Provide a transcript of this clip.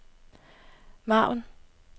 margen